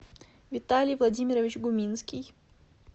виталий владимирович гуминский